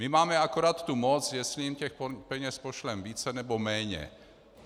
My máme akorát tu moc, jestli jim těch peněz pošleme více, nebo méně.